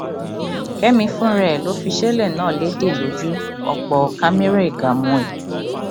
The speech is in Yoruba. kẹmi fúnra ẹ ló fìṣẹlẹ náà lédè lójú ọpọ cameragaàmù ẹ